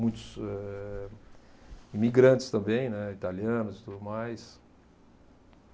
Muitos eh, imigrantes também, né, italianos e tudo mais.